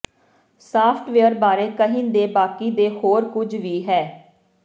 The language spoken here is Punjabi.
ਸਾਫਟਵੇਅਰ ਬਾਰੇ ਕਹਿਣ ਦੇ ਬਾਕੀ ਦੇ ਹੋਰ ਕੁਝ ਵੀ ਹੈ